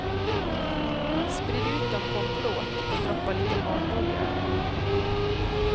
Sprid ut dem på en plåt och droppa lite matolja över.